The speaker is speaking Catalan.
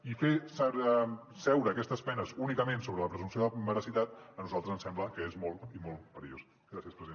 i fer seure aquestes penes únicament sobre la presumpció de veracitat a nosaltres ens sembla que és molt i molt perillós